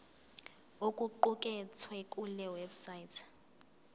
okuqukethwe kule website